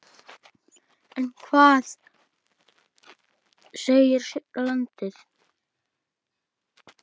En hvað segir sjálfur landinn?